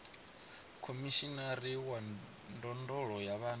khomishinari wa ndondolo ya vhana